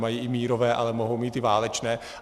Mají i mírové, ale mohou mít i válečné.